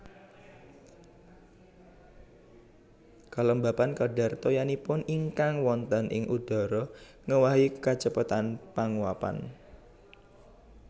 Kalembapan kadhar toyanipun ingkang wonten ing udhara ngéwahi kacepetan panguwapan